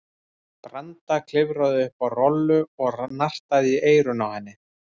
Branda klifraði upp á Rolu og nartaði í eyrun á henni.